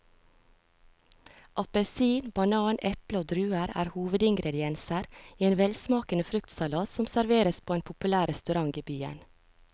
Appelsin, banan, eple og druer er hovedingredienser i en velsmakende fruktsalat som serveres på en populær restaurant i byen.